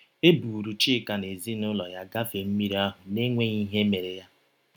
‘ E buuru Chika na ezinụlọ ya gafee mmiri ahụ n’enweghị ihe mere ha. ’